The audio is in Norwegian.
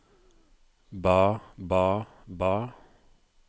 ba ba ba